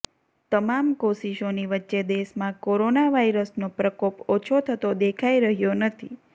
તમામ કોશિષોની વચ્ચે દેશમાં કોરોના વાયરસનો પ્રકોપ ઓછો થતો દેખાઇ રહ્યો નથી